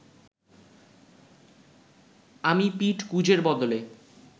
আমি পিঠ কুঁজের বদলে